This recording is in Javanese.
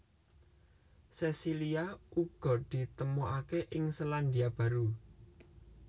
Sesilia uga ditemokaké ing Selandia Baru